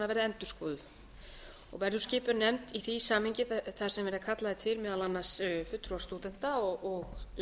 endurskoðuð og verður skipuð nefnd í því samhengi þar sem verða kallaðir til meðal annars fulltrúar stúdenta og